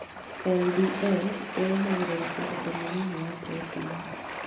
LDL ĩrũgamagĩrĩra ũritũ mũnini wa proteini